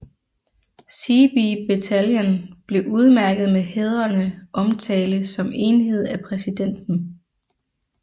Seebee bataljon blev udmærket med hædrende omtale som enhed af præsidenten